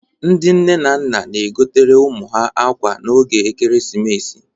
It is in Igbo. Ndị nne na nna na-egotere ụmụ ha akwa n'oge ekeresimesi